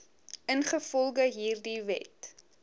ingevolge hierdie wet